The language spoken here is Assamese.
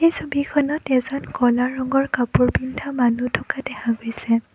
এই ছবিখনত এজন ক'লা ৰঙৰ কাপোৰ পিন্ধা মানুহ থকা দেখা গৈছে।